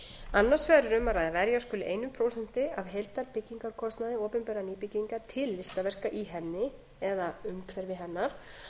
annars vegar er um að ræða að verja skuli eitt prósent af heildarbyggingarkostnaði opinberrar nýbyggingar til listaverka í henni eða umhverfi hennar